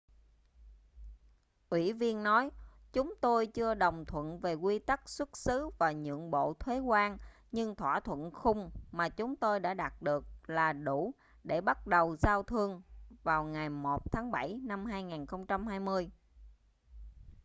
ủy viên nói chúng tôi chưa đồng thuận về quy tắc xuất xứ và nhượng bộ thuế quan nhưng thỏa thuận khung mà chúng tôi đã đạt được là đủ để bắt đầu giao thương vào ngày 1 tháng bảy năm 2020